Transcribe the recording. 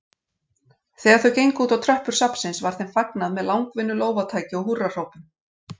Þegar þau gengu útá tröppur safnsins var þeim fagnað með langvinnu lófataki og húrrahrópum.